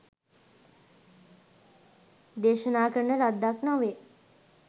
දේශනා කරන ලද්දක් නොවේ.